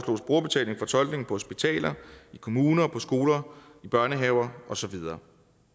hospitaler i kommuner på skoler i børnehaver og så videre